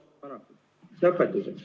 Lõpetuseks.